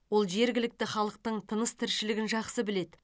ол жергілікті халықтың тыныс тіршілігін жақсы біледі